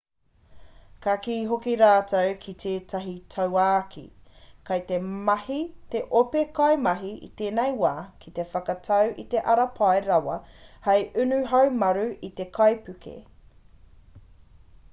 ka kī hoki rātou ki tētahi tauākī kei te mahi te ope kaimahi i tēnei wā ki te whakatau i te ara pai rawa hei unu haumaru i te kaipuke